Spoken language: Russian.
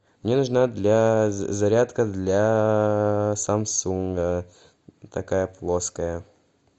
мне нужна для зарядка для самсунга такая плоская